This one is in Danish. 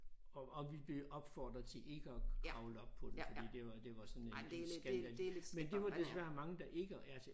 Og og vi blev opfordret til ikke at kravle op på den fordi det var det var sådan en en skandal men det var desværre mange der ikke altså